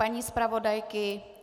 Paní zpravodajky?